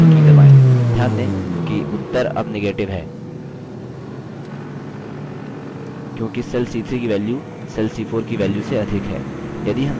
ध्यान दें कि उत्तर अब negative है क्योंकि cell c3 की value cell c4 की वैल्य से अधिक है